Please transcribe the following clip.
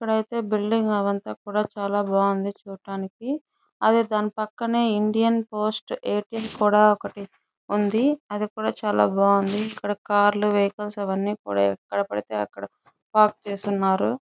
ఇప్పుడైతే బిల్డింగ్ అవంతా కూడా చాలా బాగుంది చూడటానికి అదే దాని పక్కనే ఇండియన్ పోస్ట్ కూడా ఒకటి ఉంది. అది కూడా చాలా బాగుంది. ఇక్కడ కార్లు వేకెన్సీ అవన్నీ కూడా ఎక్కడపడితే అక్కడ పార్కు చేస్తున్నారు.